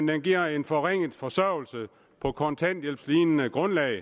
den giver en forringet forsørgelse på kontanthjælpslignende grundlag